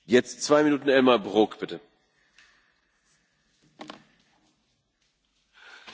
Herr Präsident, Frau Ratspräsidentin, Herr Kommissar, Kolleginnen und Kollegen!